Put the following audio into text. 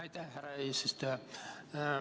Aitäh, härra eesistuja!